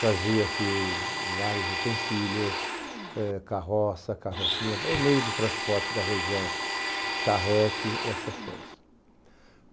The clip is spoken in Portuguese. fazia-se vários utensílios, eh carroça, carrocinha, o meio de transporte da região, charrete, essas coisas.